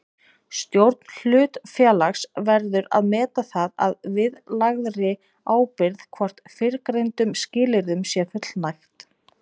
Stjórn hlutafélags verður að meta það að viðlagðri ábyrgð hvort fyrrgreindum skilyrðum sé fullnægt.